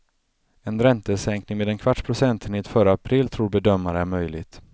En räntesänkning med en kvarts procentenhet före april tror bedömare är möjligt.